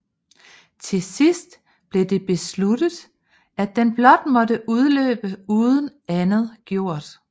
Til sidst blev det besluttet at den blot måtte udløbe uden andet gjort